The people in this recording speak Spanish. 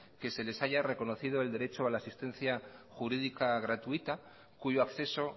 que se les haya reconocido el derecho a la asistencia jurídica gratuita cuyo acceso